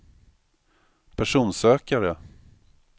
personsökare